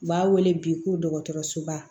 U b'a wele bi ko dɔgɔtɔrɔsoba